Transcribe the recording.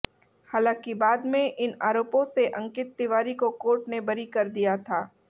हालांकि बाद में इन आरोपों से अंकित तिवारी को कोर्ट ने बरी कर दिया था